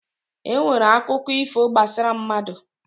E nwere akụkọ ifo gbasara mmadụ.